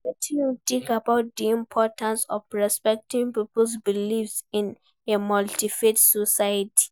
Wetin you think about di importance of respecting people's beliefs in a multi-faith society?